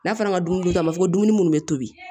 N'a fɔra dumuni kɛ k'a fɔ ko dumuni minnu bɛ tobi